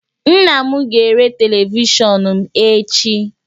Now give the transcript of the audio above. Nna m ga-ere televishọnụ m echi